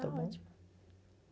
Está ótimo.